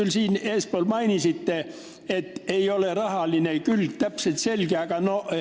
Te siin eespool mainisite, et rahaline külg ei ole täpselt selge.